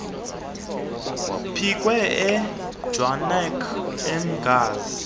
pikwe ejwaneng eghanzi